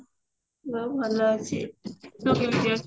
ମୁଁ ଭଲ ଅଛି ତୁ କେମତି ଅଛୁ